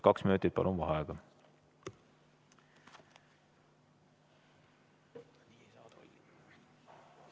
Kaks minutit vaheaega.